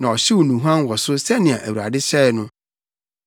na ɔhyew nnuhuam wɔ so sɛnea Awurade hyɛe no.